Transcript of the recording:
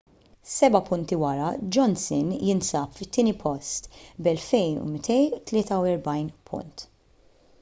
seba’ punti wara johnson jinsab fit-tieni post b’2,243 punt